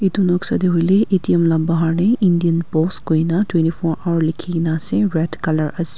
etu noksa de hoile A_T_M la bahar de indian post koi na twenty four hour likhi gina ase red color ase.